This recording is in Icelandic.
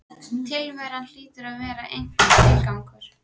Tilveran hlýtur að hafa einhvern tilgang.